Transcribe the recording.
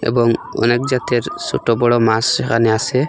এবং অনেক জাতের সোটো বড় মাস সেখানে আসে।